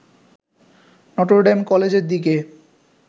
Notre Dame কলেজের দিকে